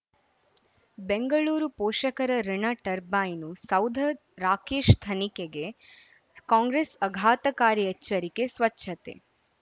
ಬೆಂಗಳೂರು ಪೋಷಕರಋಣ ಟರ್ಬೈನು ಸೌಧ ರಾಕೇಶ್ ತನಿಖೆಗೆ ಕಾಂಗ್ರೆಸ್ ಆಘಾತಕಾರಿ ಎಚ್ಚರಿಕೆ ಸ್ವಚ್ಛತೆ